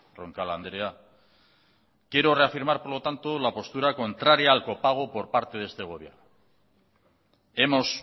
roncal andrea quiero reafirmar por lo tanto la postura contraria al copago por parte de este gobierno hemos